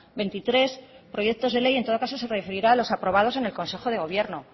veintitrés proyectos de ley en todo caso se referirá a los aprobados en el consejo de gobierno